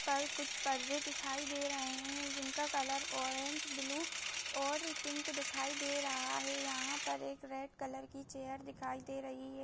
ऊपर कुछ परदे दिखाई दे रहे है जिनका कलर ऑरेंज ब्लू और पिंक दिखाई दे रहा है यहाँ पर एक रेड कलर की चेयर दिखाई दे रही है।